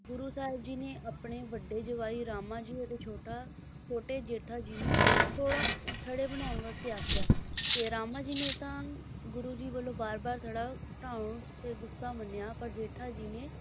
ਗੁਰੂ ਸਾਹਿਬ ਜੀ ਨੇ ਆਪਣੇ ਵੱਡੇ ਜਵਾਈ ਰਾਮਾ ਜੀ ਅਤੇ ਛੋਟਾ ਛੋਟੇ ਜੇਠਾ ਜੀ ਨੂੰ ਥੋੜਾ ਥੜ੍ਹੇ ਬਣਾਉਣ ਵਾਸਤੇ ਆਖਿਆ ਤੇ ਰਾਮਾ ਜੀ ਨੇ ਤਾਂ ਗੁਰੂ ਜੀ ਵੱਲੋਂ ਵਾਰ ਵਾਰ ਥੜਾ ਢਾਹੁਣ ਤੇ ਗੁੱਸਾ ਮੰਨਿਆ ਪਰ ਜੇਠਾ ਜੀ ਨੇ,